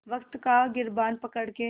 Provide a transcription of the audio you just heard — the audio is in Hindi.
वक़्त का गिरबान पकड़ के